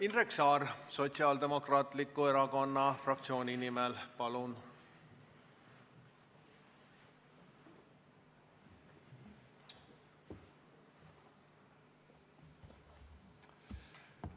Indrek Saar, Sotsiaaldemokraatliku Erakonna fraktsiooni nimel, palun!